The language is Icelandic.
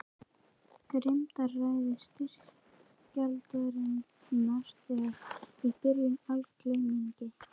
Grimmdaræði styrjaldarinnar þegar í byrjun í algleymingi.